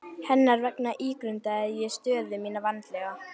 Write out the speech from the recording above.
Hennar vegna ígrundaði ég stöðu mína vandlega.